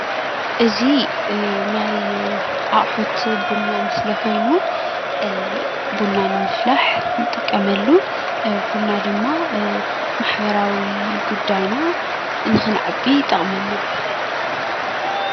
እዚ ናይ ኣቑሑት ቡና ምስሊ ኮይኑ ቡና ንምፍላሕ ንጥቀመሉ ቡና ድማ ማሕበራዊ ጉዳይና ንክንዕቢ ይጠቅመና ።